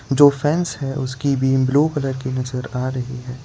जो फेन्स है उसकी भी ब्लू कलर की नजर आ रही है।